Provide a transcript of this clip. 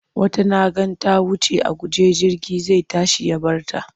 Wata na ga ta wuce a guje jirgi zai tashi ya bar ta.